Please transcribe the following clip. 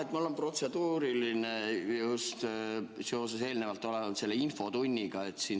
Jah, mul on protseduuriline ja see on seotud istungile eelnenud infotunniga.